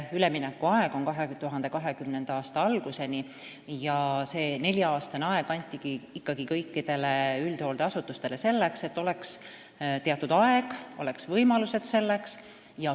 Üleminekuaeg kestab 2020. aasta alguseni ja see nelja-aastane aeg antigi ikkagi kõikidele üldhooldeasutustele selleks, et oleks teatud aeg, oleks võimalused selleks.